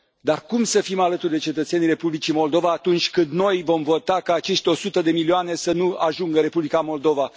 Dar cum să fim alături de cetățenii Republicii Moldova, atunci când noi vom vota ca acești 100 de milioane să nu ajungă în Republica Moldova?